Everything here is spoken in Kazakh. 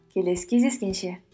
келесі кездескенше